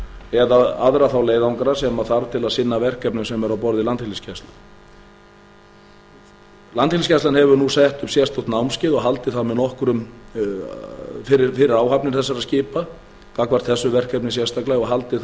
eða aðra þá leiðangra sem þarf til að sinna verkefnum sem eru á borð við landhelgisgæslu landhelgisgæslan hefur nú sett sérstök námskeið og haldið þau fyrir áhafnir þessara skipa gagnvart þessu verkefni sérstaklega og haldið